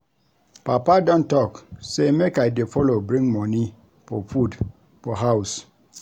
Papa don talk sey make I dey folo bring money for food for house.